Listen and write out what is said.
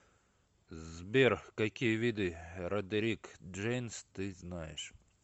сбер какие виды родерик джейнс ты знаешь